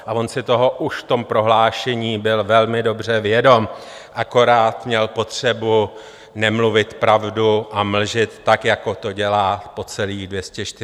A on si toho už v tom prohlášení byl velmi dobře vědom, akorát měl potřebu nemluvit pravdu a mlžit, tak jako to dělá po celých 242 dní své vlády.